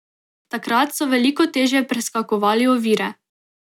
Takrat so veliko težje preskakovali ovire.